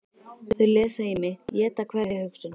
Þau lesa í mig, éta hverja hugsun.